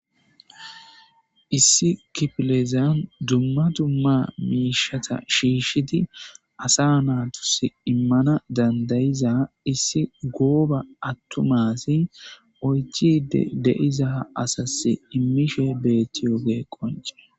issi kipilezan dumma dumma miishata shiishshidi asa naa tus immana dandayiza issi gooba attumasi oychide deiza asas immishe beettiyoge qonce